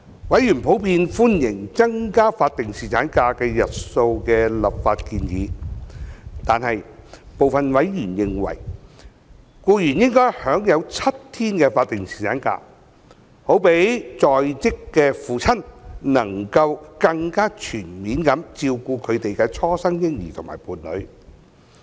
委員普遍歡迎增加法定侍產假日數的立法建議，但部分委員認為，僱員應享有7天法定侍產假，好讓在職父親能夠更加全面照顧他們的初生嬰兒及伴侶。